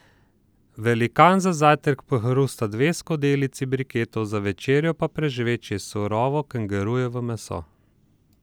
Velikan za zajtrk pohrusta dve skledici briketov, za večerjo pa prežveči surovo kengurujevo meso.